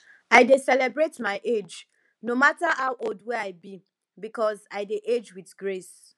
i dey celebrate my age no mata how old wey i be because i dey age wit grace